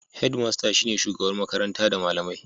Hedmasta shine shugabar makaranta da malamai.